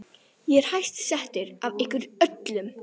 Ég er hæst settur af ykkur öllum!